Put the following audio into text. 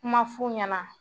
Kuma ma f'u ɲɛ na